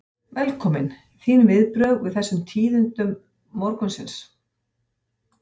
Velkominn, þín viðbrögð við þessum tíðindum morgunsins?